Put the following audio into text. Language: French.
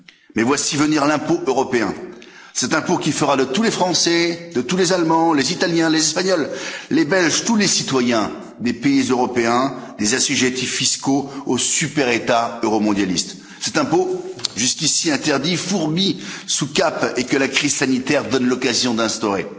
Mais voici venir l'impôt européen, cet impôt qui fera de tous les Français, de tous les Allemands, les Italiens, les Espagnols, les Belges, tous les citoyens des pays européens, des assujettis fiscaux au super État euromondialiste. C'est cet impôt, jusqu'ici interdit, fourbi sous cape, que la crise sanitaire donne l'occasion d'instaurer.